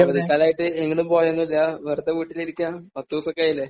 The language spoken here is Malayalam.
അവധിക്കാലമായിട്ട് നീ എങ്ങോടും പോയതൊന്നുമില്ല? വെറുതെ വീട്ടിലിരിക്കുകയാണ്? കുറച്ച് ദിവസമൊക്കെയായില്ലേ.